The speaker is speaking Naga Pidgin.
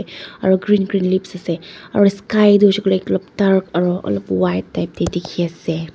aro green green leaves ase aro sky tho hoishae koile olop dark aro olob type de diki ase.